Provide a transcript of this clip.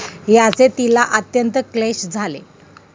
याचे तिला अत्यंत क्लेश झाले.